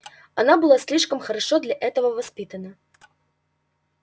она была слишком хорошо для этого воспитана